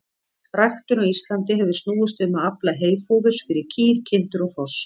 Ræktun á Íslandi hefur snúist um að afla heyfóðurs fyrir kýr, kindur og hross.